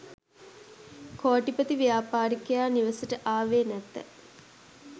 කෝටිපති ව්‍යාපාරිකයා නිවසට ආවේ නැත